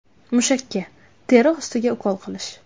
Mushakka, teri ostiga ukol qilish.